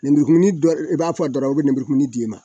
lenburukumuni i b'a fɔ a dɔrɔn a u bɛ lenburukumuni d'i ma